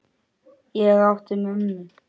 Ég átti mömmu.